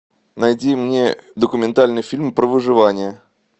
найди мне документальный фильм про выживание